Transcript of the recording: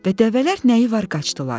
Və dəvələr nəyi var qaçdılar.